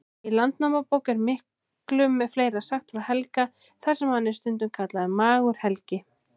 Í Landnámabók er miklu fleira sagt frá Helga, þar sem hann er stundum kallaður Magur-Helgi.